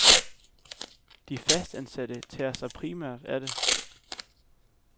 De fastansatte tager sig primært af det.